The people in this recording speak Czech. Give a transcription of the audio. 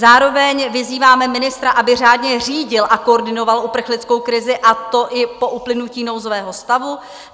Zároveň vyzýváme ministra, aby řádně řídil a koordinoval uprchlickou krizi, a to i po uplynutí nouzového stavu.